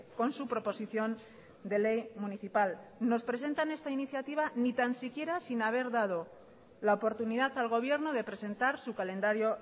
con su proposición de ley municipal nos presentan esta iniciativa sin ni tan siquiera haber dado la oportunidad al gobierno de presentar su calendario